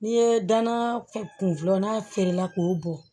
N'i ye danna kun filanan feerela k'o bɔ